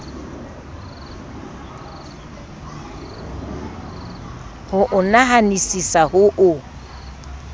ho o nahanisisa ho o